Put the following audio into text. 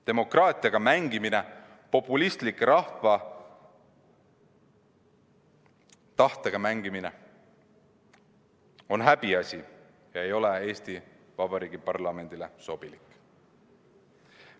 Demokraatiaga mängimine, populistlik rahva tahtega mängimine on häbiasi ega ole Eesti Vabariigi parlamendile sobilik.